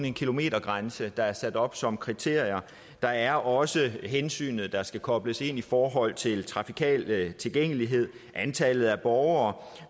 en kilometergrænse der er sat op som kriterie der er også hensynet der skal kobles ind i forhold til trafikal tilgængelighed antallet af borgere